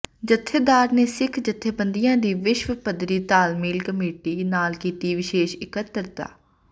ਜਥੇਦਾਰ ਨੇ ਸਿੱਖ ਜਥੇਬੰਦੀਆਂ ਦੀ ਵਿਸ਼ਵ ਪੱਧਰੀ ਤਾਲਮੇਲ ਕਮੇਟੀ ਨਾਲ ਕੀਤੀ ਵਿਸ਼ੇਸ਼ ਇਕੱਤਰਤਾ